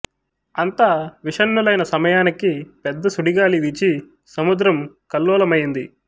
అంతా విషణ్ణులైన సమయానికి పెద్ద సుడిగాలి వీచి సముద్రం కల్లోలమయ్యింది